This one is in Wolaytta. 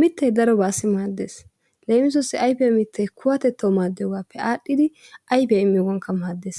Mittay darobaassi maaddees. Leemisuwassi ayfiya mittay kuwatettawu maaddiyogaappe aadhdhidi ayfiya immiyogankka maaddees.